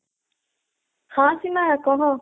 ହଁ ସୀମା କହ।